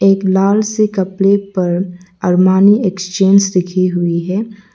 एक लाल से कपड़े पर अरमानी एक्सचेंज लिखी हुई है।